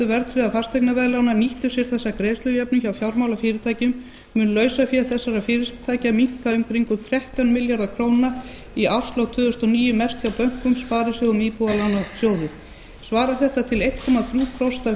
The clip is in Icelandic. verðtryggðra fasteignaveðlána nýttu sér þessa greiðslujöfnun hjá fjármálafyrirtækjunum mundi lausafé þessara fyrirtækja minnka um kringum þrettán milljarða króna í árslok tvö þúsund og níu mest hjá bönkum sparisjóðum og íbúðalánasjóði svarar þetta til einn komma þrjú prósent af